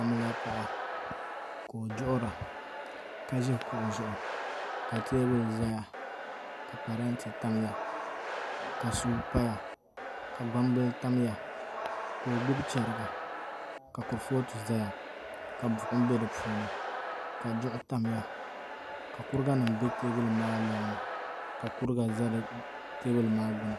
Amiliya paɣa ka o duɣura ka ʒi kuɣu zuɣu ka teebuli ʒɛya ka parantɛ tamya ka suu paya ka gbambili tamya ka o gbubi chɛriga ka kurifooti ʒɛya ka buɣum bɛ di puuni ka kuriga nim bɛ teebuli maa loŋni ka kuriga ʒɛ teebuli maa gbuni